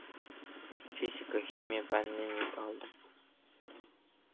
физика химия пәнінен екі алдым